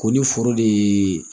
Ko ni foro de ye